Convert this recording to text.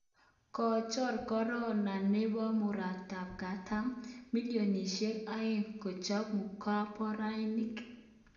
Kochor Korea nebo murotkatam bilionisyek aeng kochob komborainik